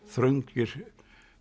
þröngir